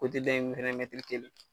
dɔ in fɛnɛ mɛtiri kelen,